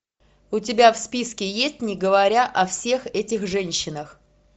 у тебя в списке есть не говоря о всех этих женщинах